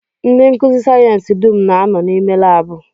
Ndị nkụzi sayensị dum na-anọ n'ime laabụ